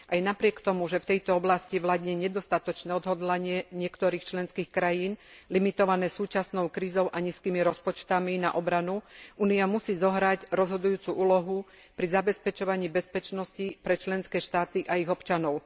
Aj napriek tomu, že v tejto oblasti vládne nedostatočné odhodlanie niektorých členských krajín, limitované súčasnou krízou a nízkymi rozpočtami na obranu, Únia musí zohrať rozhodujúcu úlohu pri zabezpečovaní bezpečnosti pre členské štáty a ich občanov.